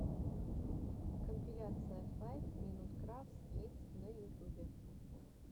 компиляция файв минут крафтс кидс на ютюбе